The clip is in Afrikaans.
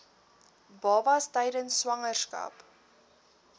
babas tydens swangerskap